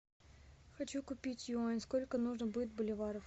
хочу купить юань сколько нужно будет боливаров